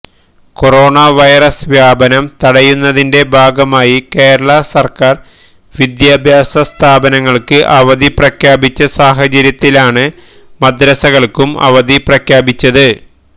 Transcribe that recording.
corona virus വ്യാപനം തടയുന്നതിന്റെ ഭാഗമായി കേരള സർക്കാർ വിദ്യാഭ്യാസ സ്ഥാപനങ്ങൾക്ക് അവധി പ്രഖ്യാപിച്ച സാഹചര്യത്തിലാണ് മദ്രസകൾക്കും അവധി പ്രഖ്യാപിച്ചത്